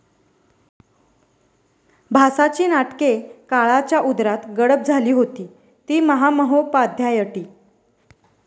भासाची नाटके काळाच्याउदरात गडप झाली होती, ती महामहोपाध्यायटी